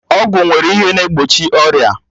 Ọgwụ nwere ihe na egbochi ọrịa